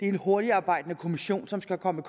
en hurtigtarbejdende kommission som skal komme